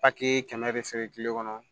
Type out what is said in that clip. kɛmɛ de feere kile kɔnɔ